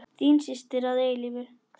Þín systir að eilífu, Þóra.